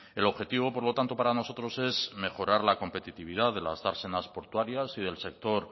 el objetivo por lo tanto para nosotros es mejorar la competitividad de las dársenas portuarias y del sector